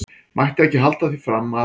Mætti ekki halda því fram að.